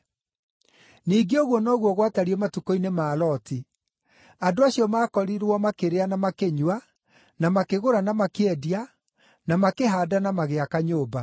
“Ningĩ ũguo noguo gwatariĩ matukũ-inĩ ma Loti. Andũ acio maakorirwo makĩrĩa na makĩnyua, na makĩgũra na makĩendia, na makĩhaanda na magĩaka nyũmba.